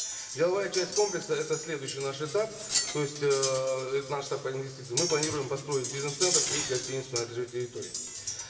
деловая часть комплекса это следующий наш этап то есть эээ это наш этап по инвестициям мы планируем построить бизнес центр и гостиницу на этой же территории